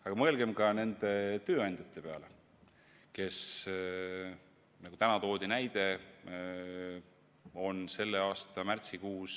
Aga mõelgem ka nende tööandjate peale, kes, nagu täna toodi näide, on selle aasta märtsikuus